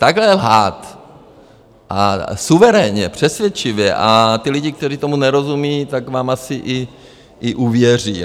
Takhle lhát a suverénně, přesvědčivě a ti lidé, kteří tomu nerozumí, tak vám asi i uvěří.